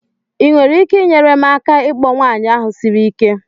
Ị nwere ike inyere m aka ịkpọ nwanyị ahụ siri ike?